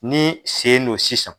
Ni sen n don sisan